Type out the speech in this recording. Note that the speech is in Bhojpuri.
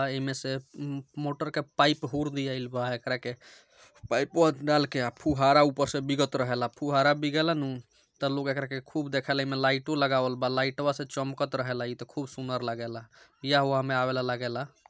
अ इमे से म-म-मोटर का पाइप हूर दियाइल बा एकरा के | पाइपवा डालके अ फुहारा ऊपर से बिगत रहेला फुहारा बिगे लानू त लोग एकरा के खूब देखेला | इमे लाइटु लगावल बा लाइटवा से चमकत रहेला इ तो खूब सुंदर लागेला | ब्याह उआह में आवत ला लागे ला।